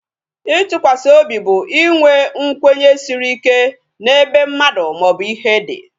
Itụkwasị obi bụ inwe nkwenye siri ike n'ebe mmadụ maobu ihe dị